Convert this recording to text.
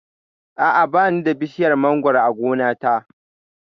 A'a, ba ni da bishiyar mangoro a gona ta